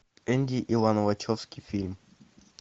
энди и лана вачовски фильм